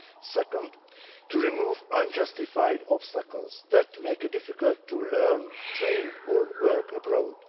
Secondly, to remove unjustified obstacles that make it difficult to learn, train or work abroad.